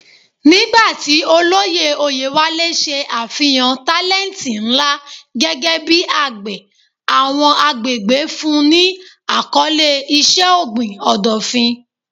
Nigba ti olori Oyewale ṣe afihan talenti nla gẹgẹ bi agbe, awọn agbegbe fun un ni akọle iṣẹ-ogbin Odofin.